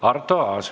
Arto Aas.